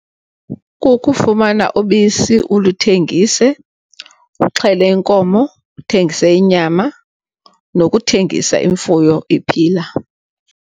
Kukufumana ubisi ulithengise, uxhele inkomo, uthengise inyama nokuthengisa imfuyo iphila.